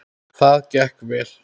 Það gekk vel.